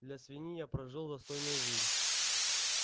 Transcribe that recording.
для свиньи я прожил достойную жизнь